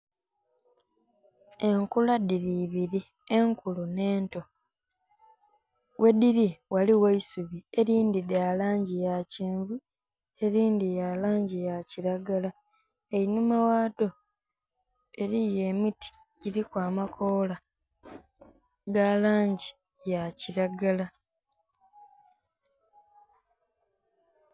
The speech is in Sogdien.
Enkula dhili ibiri enkulu nhe ento ghe dhili ghaligho eisubi elindhi lya langi ya kyenvu elindhi lya langi ya kilagala, einhuma ghadho eriyo emiti guliku amakoola ga langi ya kilagala.